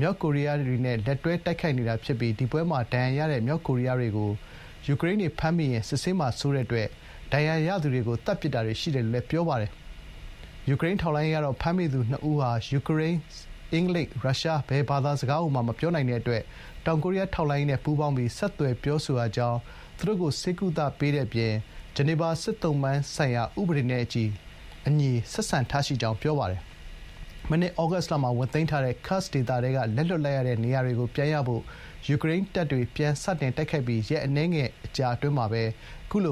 မြောက်ကိုရီးယားတွေနဲ့ လက်တွဲ တိုက်ခိုက် နေတာ ဖြစ်ပြီး တိုက်ပွဲမှာ ဒဏ်ရာရတဲ့ မြောက်ကိုရီးယားတွေကို ယူကရိန်းတွေ ဖမ်းမိရင် စစ်ဆေးမှာ စိုးတဲ့အတွက် ဒဏ်ရာရသူတွေကို သတ်ပစ်တာတွေ ရှိတယ်လို့လည်း ပြောပါတယ်။ ယူကရိန်း ထောက်လှန်းရေးကတော့ ဖမ်းမိသူ ၂ ဦးဟာ ယူကရိန်း၊ အင်္ဂလိပ်၊ ရုရှား ဘယ်စကားကိုမှ မပြောနိုင်တဲ့ အတွက် တော်ကိုရီးယား ထောက်လှန်းရေးနဲ့ ပူးပေါင်းပြီး ဆက်သွယ်ပြောဆိုရကြောင်း သူတို့ိကို ဆေးကုသပေးတဲ့ အပြင် ဂျနီဗာ စစ်သုံ့ပန်းဆိုင်ရာ ဥပဒေနဲ့အညီ ဆက်ဆံထားရှိကြောင်း ပြောပါတယ်။ မနှစ်သြဂုတ်လမှာ ဝင်သိမ်းထားတဲ့ ဒီဒေသထဲက လက်လွှတ်လိုက်ရတဲ့ နေရာတွေကို ပြန်ရဖို့ ယူကရိန်းတွေ ပြန်စတိုက်ခိုက်ပြီး ရက်အနည်းငယ် အတွင်းမှာပဲ အခုလိ